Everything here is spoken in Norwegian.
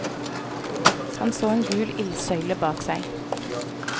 Han så en gul ildsøyle bak seg.